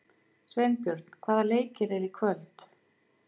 Sveinbjörn, hvaða leikir eru í kvöld?